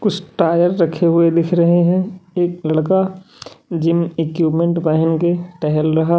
कुछ टायर रखे हुए दिख रहे हैं एक लड़का जिम इक्विपमेंट पहन के टहल रहा--